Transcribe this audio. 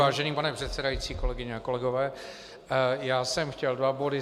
Vážený pane předsedající, kolegyně a kolegové, já jsem chtěl dva body.